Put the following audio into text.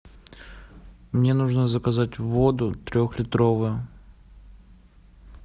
мне нужно заказать воду трехлитровую